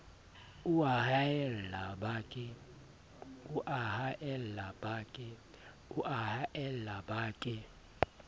o a haella ba ke